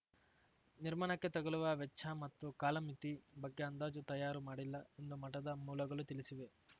ನಿರ್ಮಾಣಕ್ಕೆ ತಗಲುವ ವೆಚ್ಚ ಮತ್ತು ಕಾಲಮಿತಿ ಬಗ್ಗೆ ಅಂದಾಜು ತಯಾರು ಮಾಡಿಲ್ಲ ಎಂದು ಮಠದ ಮೂಲಗಳು ತಿಳಿಸಿವೆ